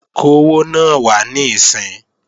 Kówó náà wá níìsín!